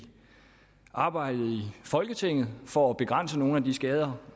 arbejdet i folketinget for at begrænse nogle af de skader